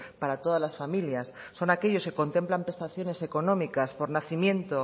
para todas las familias son aquellos que contemplan prestaciones económicas por nacimiento